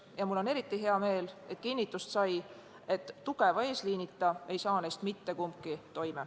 Ja mul on eriti hea meel, et sai kinnitust, et ilma tugeva eesliinita ei saa neist mitte kumbki.